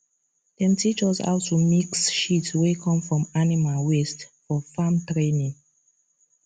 dem teach us how to mix shit wey come from animal waste for farm training